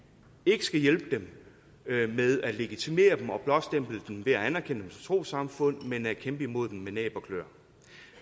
ikke skal hjælpe dem ved at legitimere dem og blåstemple dem ved at anerkende trossamfund men ved at kæmpe imod dem med næb og klør